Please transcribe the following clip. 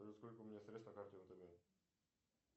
сколько у меня средств на карте втб